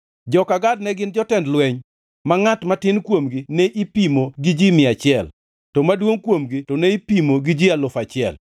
Joka Gad-gi ne gin jotend jolweny, ma ngʼat matin kuomgi ne ipimo gi ji mia achiel, to maduongʼ kuomgi to ne ipimo gi ji alufu achiel (1,000).